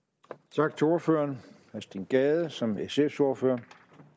tak til ordføreren herre steen gade som sfs ordfører